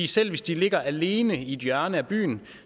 selv hvis de ligger alene i et hjørne af byen